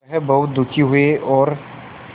वह बहुत दुखी हुए और